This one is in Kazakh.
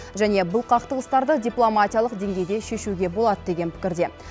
және бұл қақтығыстарды дипломатиялық деңгейде шешуге болады деген пікірде